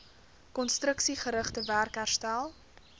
konstruksiegerigte werk herstel